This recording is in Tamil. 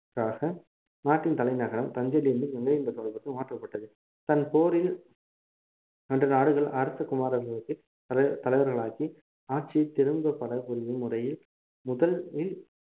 ~ளாக நாட்டின் தலைநகரம் தஞ்சையில் இருந்து கங்கை கொண்ட சோழபுரத்துக்கு மாற்றப்பட்டது தன் போரில் வென்ற நாடுகள் அரச குமாரர்களுக்கு தலைவர் தலைவர்களாக்கி ஆட்சியை திரும்பு படப் புரியும் முறையில் முதலில்